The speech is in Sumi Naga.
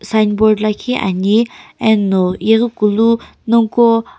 signboard lakhi ani eno yeghikulu nonguqo.